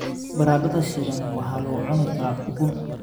Baradhada shiilan waxaa lagu cuni karaa ukun.